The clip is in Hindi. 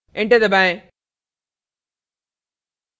enter दबाएं